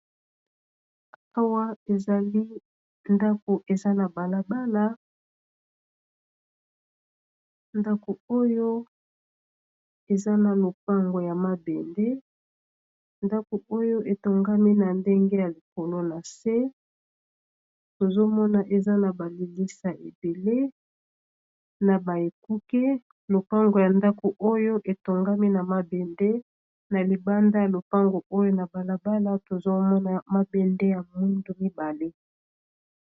Awa ezali ndako eza na balabala ndako oyo eza na lopango ya mabende ndako oyo etongami na ndenge ya likolo na se ,tozomona eza na balilisa ebele na baekuke lopango ya ndako oyo etongami na mabende na libanda ya lopango oyo na balabala tozomona mabende ya mundu mibale.